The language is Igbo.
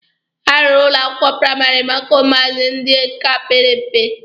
A rụrụ ụlọ akwụkwọ praịmarị maka ụmụazị ndị ka pere mpe.